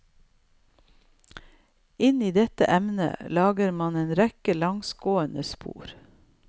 Inn i dette emnet lager man en rekke langsgående spor.